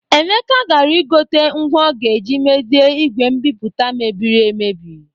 Emeka gara igote ngwa ọ ga-eji mezie igwe mbipụta mebirir emebi